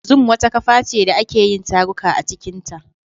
Zoom wata kafa ce da ake yin taruka a cikinta.